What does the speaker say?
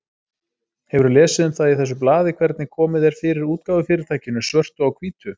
Hefurðu lesið um það í þessu blaði hvernig komið er fyrir útgáfufyrirtækinu Svörtu á hvítu?